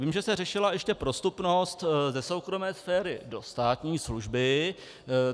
Vím, že se řešila ještě prostupnost ze soukromé sféry do státní služby.